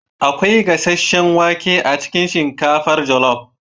akwai gasasshen wake a cikin shinkafar jollof